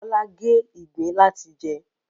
Bọ́lá gé ìgbín láti jẹ